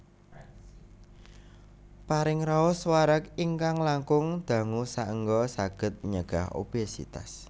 Paring raos wareg ingkang langkung dangu saéngga saged nyegah obesitas